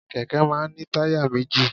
Kẹ̀kẹ́ máa ń ní táyà méjì.